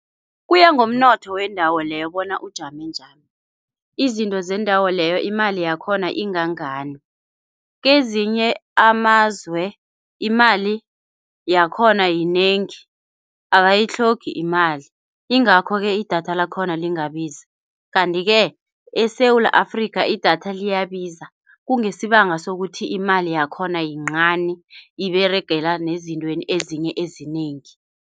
Kuyangomnotho wendawo leyo bona ujame njani. Izinto zendawo leyo imali yakhona ingangani. Kezinye amazwe imali yakhona yinengi, abayitlhogi imali. Ingakho-ke idatha lakhona lingabizi, kanti-ke eSewula Afrika idatha liyabiza kungesibanga sokuthi imali yakhona yincani, iberegela nezintweni ezinye ezinengi.